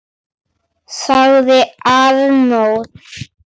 ., sagði Arnór.